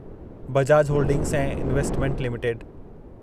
Bajaj holdings ऐं investment limited